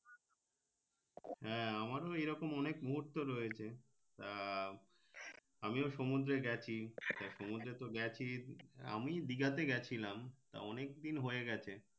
হ্যাঁ আমারও এই রকম অনেক মুহূর্ত রয়েছে আহ আমিও সমুদ্রে গেছি সমুদ্রে তো গেছি আমি দিঘাতে গেছিলাম তা অনেক দিন হয়ে গেছে